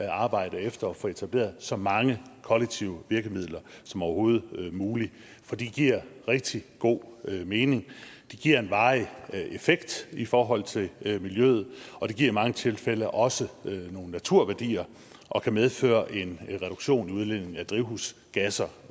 arbejde efter at få etableret så mange kollektive virkemidler som overhovedet muligt for det giver rigtig god mening det giver en varig effekt i forhold til miljøet og det giver i mange tilfælde også nogle naturværdier og kan medføre en reduktion i udledningen af drivhusgasser